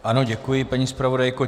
Ano děkuji, paní zpravodajko.